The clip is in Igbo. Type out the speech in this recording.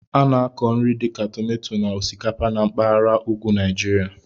A na-akọ nri dịka tomato na osikapa na mpaghara ugwu Nigeria.